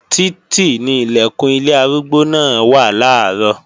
Títì ni Ilẹ̀kùn ilé arúgbó náà wà làárọ̀